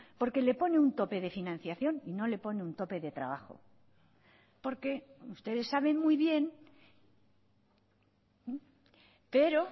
porque le pone un tope de financiación y no le pone un tope de trabajo porque ustedes saben muy bien pero